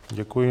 Děkuji.